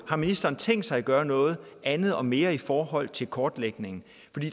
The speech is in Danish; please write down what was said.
har ministeren tænkt sig at gøre noget andet og mere i forhold til en kortlægning